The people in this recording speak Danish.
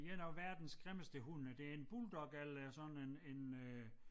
1 af verdens grimmeste hunde det en bulldog eller sådan en en øh